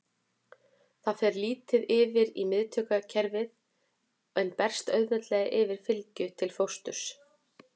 Það fer lítið yfir í miðtaugakerfið en berst auðveldlega yfir fylgju til fósturs.